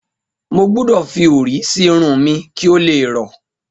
Mo gbudọ̀ fi orí sí irun mi kí ó le rọ́.